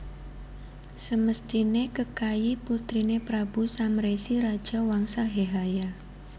Semesthiné Kekayi putriné Prabu Samresi raja Wangsa Hehaya